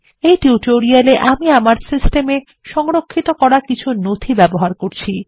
এই টিউটোরিয়াল এ আমি আমার সিস্টেম এ সংরক্ষিত করা কিছু নথি ব্যবহার করব